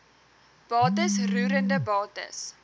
bates roerende bates